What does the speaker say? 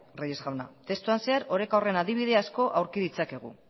reyes jauna testuan zehar oreka horren adibide asko aurki ditzakegu